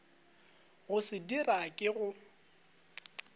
go se dira ke go